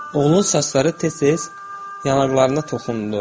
Oğlun saçları tez-tez yanaqlarına toxundu.